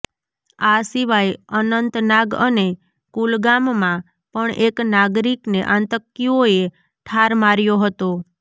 આ સિવાય અનંતનાગ અને કુલગામમાં પણ એક નાગરિકને આતંકીઓએ ઠાર માર્યો હતો